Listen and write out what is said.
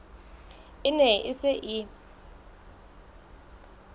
e ne e se e